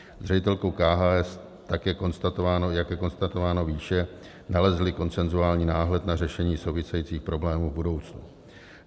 S ředitelkou KHS, tak je konstatováno výše, nalezli konsenzuální náhled na řešení souvisejících problémů v budoucnu.